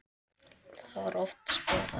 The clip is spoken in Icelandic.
Þá var oft spilað.